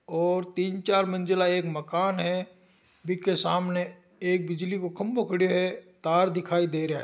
और तीन चार मंजिला एक मकान है बी के सामने एक बिजली को खम्बो खड़े है तार दिखाई दे रहा है।